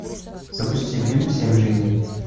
запусти фильм семь жизней